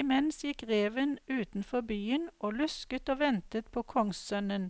Imens gikk reven utenfor byen og lusket og ventet på kongssønnen